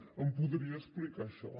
em podria explicar això